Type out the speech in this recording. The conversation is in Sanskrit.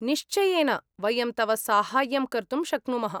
निश्चयेन! वयं तव साहाय्यं कर्तुं शक्नुमः।